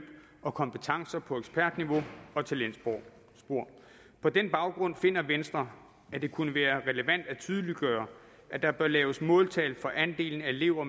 og kompetencer på ekspertniveau og talentspor på den baggrund finder venstre at det kunne være relevant at tydeliggøre at der bør laves måltal for andelen af elever